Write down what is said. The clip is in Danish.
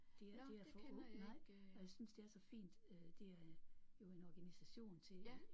Det er det er for nej og jeg synes det er så fint øh det er jo en organisation til